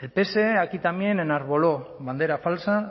el pse aquí también enarboló bandera falsa